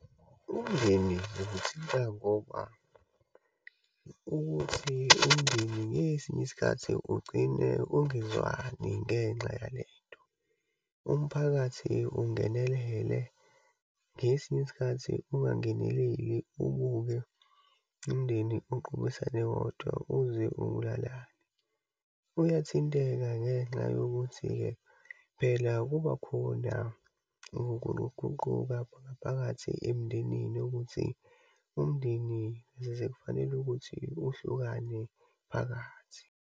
Umndeni uzithinta ngoba, ukuthi umndeni ngesinye isikhathi ugcine ungezwani ngenxa yalento. Umphakathi ungenelele, ngesinye isikhathi ungangeneleli, ubuke umndeni uqophisane wodwa uze ubulalane. Uyathinteka ngenxa yokuthi-ke, phela kubakhona ukuluguquka khona phakathi emndenini ukuthi umndeni zize kufanele ukuthi uhlukane phakathi.